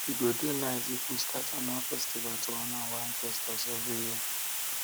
e go dey nice if we start annual festival to honor our ancestors every year